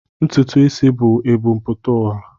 Ntụtụ isi bú e bu m pụta ụwa.